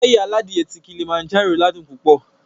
Páyì aládìe ti Kilimanjaro ládùn púpọ̀